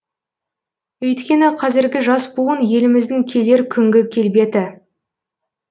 өйткені қазіргі жас буын еліміздің келер күнгі келбеті